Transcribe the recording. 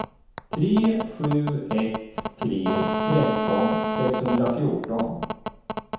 tre sju ett tre tretton sexhundrafjorton